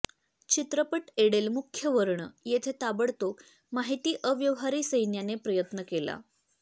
चित्रपट एडेल मुख्य वर्ण येथे ताबडतोब माहीत अव्यवहारी सैन्याने प्रयत्न केला